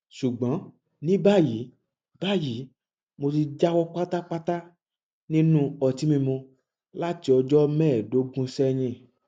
ṣùgbọn ní báyìí báyìí mo ti jáwọ pátápátá nínú ọtí mímu láti ọjọ mẹẹẹdógún sẹyìn